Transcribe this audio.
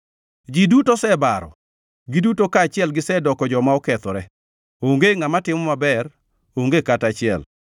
Ji duto osebaro, giduto kaachiel gisedoko joma okethore; onge ngʼama timo maber, onge kata achiel.